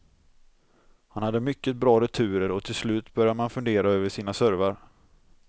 Han hade mycket bra returer och till slut börjar man fundera över sina servar.